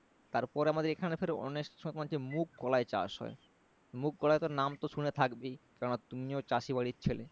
তারপরে আমাদের এখানে ফের অনেক সময় হচ্ছে মুগ কলাই চাষ হয় মুগ কলাই তো নাম তো শুনে থাকবেই কারণ তুমিও চাষী বাড়ির ছেলে